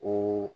Ko